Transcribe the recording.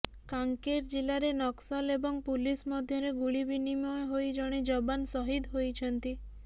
କାଂକେର ଜିଲ୍ଲାରେ ନକ୍ସଲ ଏବଂ ପୁଲିସ ମଧ୍ୟରେ ଗୁଳି ବିନିୟମ ହୋଇ ଜଣେ ଯବାନ ସହିଦ ହୋଇଛନ୍ତି